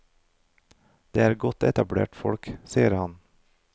Det er godt etablerte folk, sier han.